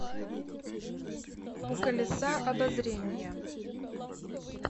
у колеса обозрения